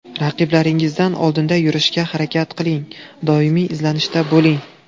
Raqiblaringizdan oldinda yurishga harakat qiling, doimiy izlanishda bo‘ling.